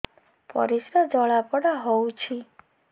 ପରିସ୍ରା ଜଳାପୋଡା ହଉଛି